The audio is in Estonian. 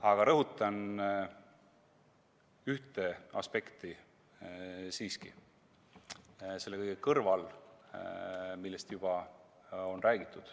Aga rõhutan siiski ühte aspekti selle kõige kõrval, millest juba on räägitud.